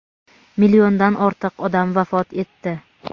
milliondan ortiq odam vafot etdi.